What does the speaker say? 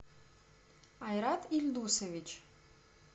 айрат ильдусович